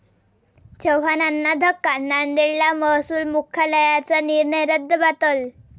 चव्हाणांना धक्का, नांदेडला महसूल मुख्यालयाचा निर्णय रद्दबातल